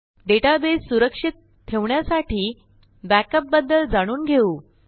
database सुरक्षित ठेवण्यासाठी backup बद्दल जाणून घेऊ